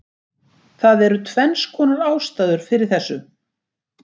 Það eru tvennskonar ástæður fyrir þessu: